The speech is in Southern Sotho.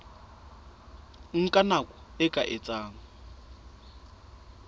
nka nako e ka etsang